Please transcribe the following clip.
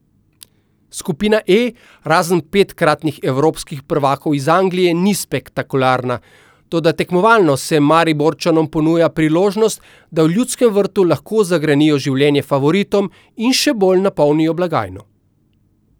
Skupina E, razen petkratnih evropskih prvakov iz Anglije, ni spektakularna, toda tekmovalno se Mariborčanom ponuja priložnost, da v Ljudskem vrtu lahko zagrenijo življenje favoritom in še bolj napolnijo blagajno.